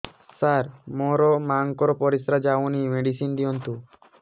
ସାର ମୋର ମାଆଙ୍କର ପରିସ୍ରା ଯାଉନି ମେଡିସିନ ଦିଅନ୍ତୁ